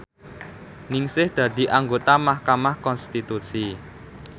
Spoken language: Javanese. Ningsih dadi anggota mahkamah konstitusi